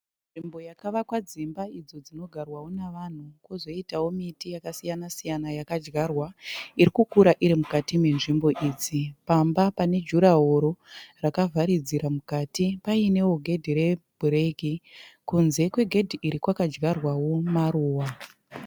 Nzvimbo yakavakwa dzimba idzi dzinogarwawo nevanhu. Kuzoitawo miti yakasiyana siyana yakadyarwa irikukura iri mukati menzvimbo idzi. . Pamba pane jurahoro rakavaridzira mukati painewo gedhi rebhureku. Kunze kwegedhi iri kwakadyarwawo maruva.